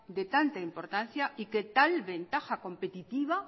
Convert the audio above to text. de tanta importancia y que tal ventaja competitiva